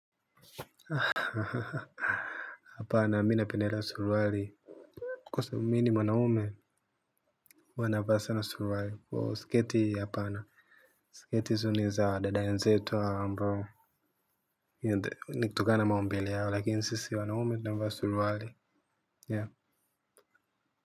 Apana mimi napendelea suruali kwa sababu mimi ni mwanaume huwa navaa sana suruali. Kwa sketi hapana, sketi hizo niza dada wenzetu hawa ambao hiyo ndi nikutokana maumbile yao lakini sisi wanaume tunavaa na suruali Ya.